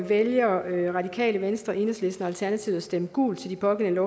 vælger radikale venstre enhedslisten og alternativet at stemme gult til de pågældende